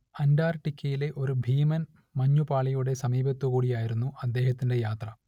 അന്റാർട്ടിക്കയിലെ ഒരു ഭീമൻ മഞ്ഞുപാളിയുടെ സമീപത്തുകൂടിയായിരുന്നു അദ്ദേഹത്തിന്റെ യാത്ര